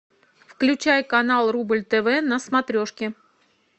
включай канал рубль тв на смотрешке